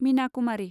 मिना कुमारि